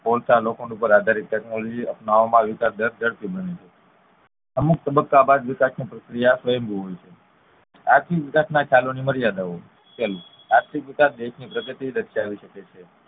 કોલસા લોખંડ ઉપ્પર આધારિત ટેકનોલોજી અપનાવવામાં વિકાસ બને છે અમુક તબ્બકા બાદ વિકાસ ની પ્રક્રિયા ભેગું હોય છે આર્થિક વિકાસ ના ખ્યાલો ની મર્યાદાઓ પહેલું આર્થિક વિકાસ ની પ્રગતિ શકે છે